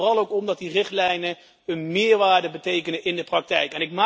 Het gaat er vooral ook om dat die richtlijnen een meerwaarde betekenen in de praktijk.